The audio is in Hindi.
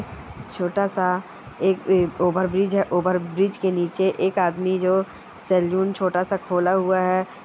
छोटा-सा एक अ ओवरब्रिज है ओवरब्रिज के नीचे एक आदमी जो सैलून छोटा-सा खोला हुआ है।